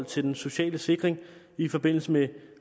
til den sociale sikring i forbindelse med